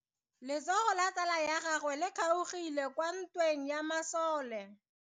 Letsogo la tsala ya gagwe le kgaogile kwa ntweng ya masole.